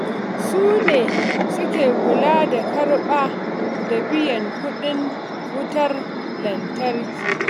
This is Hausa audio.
Su ne suke kula da karɓa da biyan kuɗin wutar lantarki.